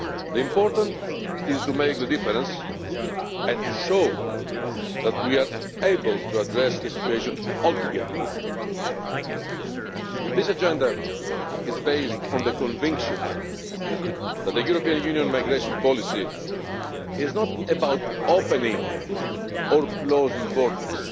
The important thing is to make a difference and to show that we are able to address the situation together. This agenda is based on the conviction that the European Union migration policy is not about opening or closing borders.